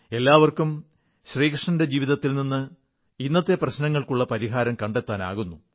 എല്ലാവർക്കും ശ്രീകൃഷ്ണന്റെ ജീവിതത്തിൽ നിന്ന് ഇന്നത്തെ പ്രശ്നങ്ങൾക്കുള്ള പരിഹാരം കണ്ടെത്താനാകുന്നു